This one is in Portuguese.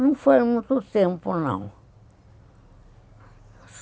Não foi muito tempo, não.